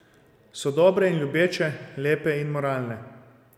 So dobre in ljubeče, lepe in moralne.